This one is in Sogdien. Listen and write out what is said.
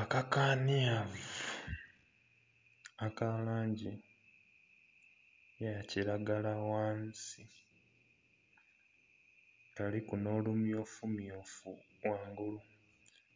Akakanhyavu aka langi eya kiragala ghansi kaliku nho lumyufu myufu ghangulu